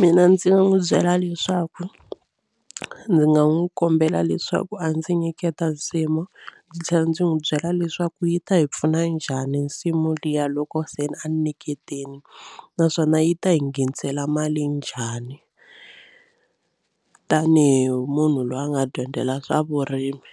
Mina ndzi n'wi byela leswaku ndzi nga n'wi kombela leswaku a ndzi nyiketa nsimu ndzi tlhela ndzi n'wi byela leswaku yi ta hi pfuna njhani nsimu liya loko seni a ni nyiketile naswona yi ta yi nghenisela mali njhani tanihi munhu loyi a nga dyondzela swa vurimi